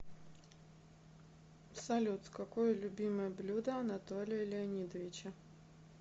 салют какое любимое блюдо анатолия леонидовича